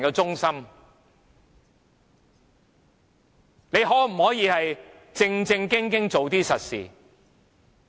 政府可否正正經經做實事？